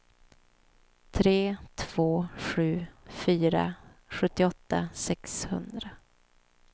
tre två sju fyra sjuttioåtta sexhundra